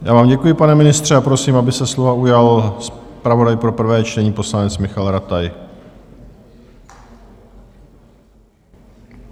Já vám děkuji, pane ministře, a prosím, aby se slova ujal zpravodaj pro prvé čtení, poslanec Michael Rataj.